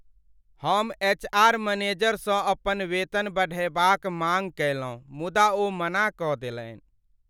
हम एचआर मैनेजरसँ अपन वेतन बढ़यबाक माँग कयलहुँ मुदा ओ मना कऽ देलनि।